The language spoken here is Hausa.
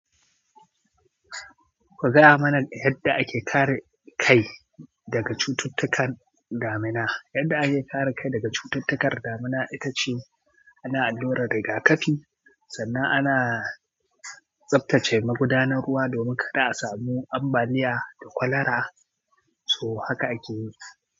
Ku gaya mana yadda ake kare kai daga cututtukan damina. Yadda ake kare kai daga cututtukan damina ita ce ana alluran rigakafi, sannan ana tsaftace magudanar ruwa domin kada a samu ambaliya da kwalara. So haka ake yi.